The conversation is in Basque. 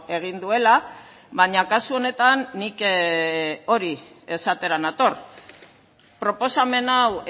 egin duela baina kasu honetan nik hori esatera nator proposamen hau